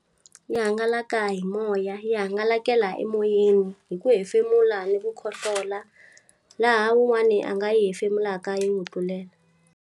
Yi hangalaka hi moya, yi hangalakela emoyeni. Hi ku hefemula ni ku khohlola, laha wun'wani a nga yi hefemulaka yi n'wi tlulela.